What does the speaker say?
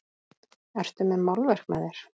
Ertu með málverk með þér?